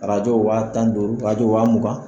Arajo wa tan ni duuru arajo wa mugan.